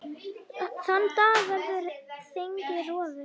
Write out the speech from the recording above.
Þann dag verður þingið rofið.